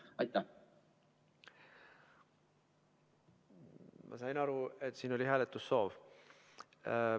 Ma saan aru, et see oli hääletussoov.